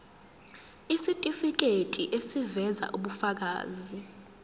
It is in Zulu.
isitifiketi eziveza ubufakazi